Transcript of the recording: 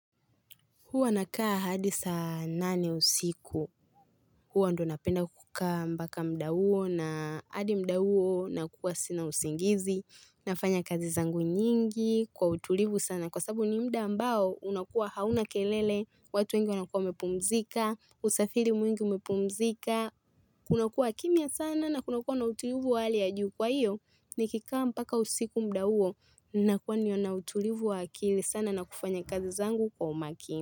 Huwa nakaa hadi saa nane usiku. Huwa ndo napenda kukaa mbaka muda huo na hadi mda huo na kuwa sina usingizi. Nafanya kazi zangu nyingi kwa utulivu sana. Kwa sababu ni muda ambao unakuwa hauna kelele. Watu wengi wanakuwa mepumzika. Usafiri mwingi umepumzika. Kunakuwa kimya sana na kunakuwa na utulivu wali ya juu kwa iyo. Nikikaa mpaka usiku muda huo ninakuwa ni wana utulivu wa akili sana na kufanya kazi zangu kwa umaki.